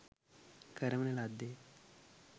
කරවන ලද්දේ ය